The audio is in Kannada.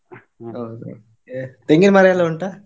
ಹೌದು ಮತ್ತೆ, ತೆಂಗಿನ್ಮರ ಎಲ್ಲ ಉಂಟಾ?